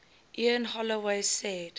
ian holloway said